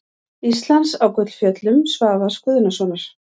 Íslands á Gullfjöllum Svavars Guðnasonar.